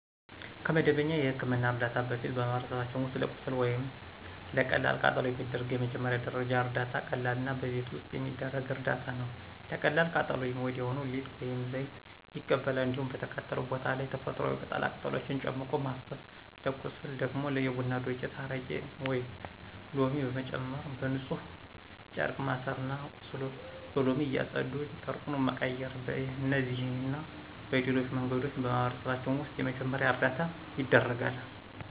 ከመደበኛ የሕክምና እርዳታ በፊት በማህበረሰባችን ውስጥ ለቁስል ወይም ለቀላል ቃጠሎ የሚደረግ የመጀመሪያ ደረጃ እርዳታ ቀላልና በቤት ውስጥ የሚደረግ እርዳታ ነው። ለቀላል ቃጠሎ ወዲያው ሊጥ ወይም ዘይት ይቀባል። እንዲሁም በተቃጠለው ቦታ ላይ ተፈጥሮአዊ ቅጠላ ቅጠሎችን ጨምቆ ማፍሰስ፤ ለቁስል ደግሞ የቡና ዱቄት፣ አረቄ ወይም ሎሚ በመጨመር በንፁህ ጨርቅ ማሠርና ቁስሉን በሎሚ እያፀዱ ጨርቁን መቀየር። በእነዚህና በሌሎች መንገዶች በማህበረሰባችን ውስጥ የመጀመሪያ እርዳታ ይደረጋል።